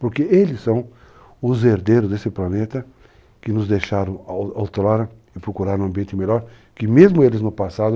Porque eles são os herdeiros desse planeta que nos deixaram a outrora e procuraram um ambiente melhor, que mesmo eles no passado